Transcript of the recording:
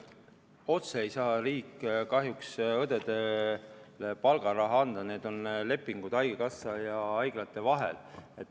Otse ei saa riik kahjuks õdedele palgaraha anda, see on seotud lepingutega haigekassa ja haiglate vahel.